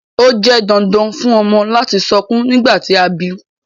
Ó jẹ dandan fùn ọmọ lati sọkun nigbati a bi